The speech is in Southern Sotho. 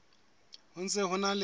ho ntse ho na le